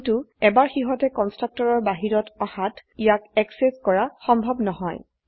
কিন্তু এবাৰ সিহতে কন্সট্ৰকটৰৰ বাহিৰত আহাত ইয়াক এক্সেস কৰা সম্ভব নহয়